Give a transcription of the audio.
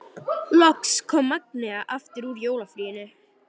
Loks kom Magnea aftur úr jólafríinu.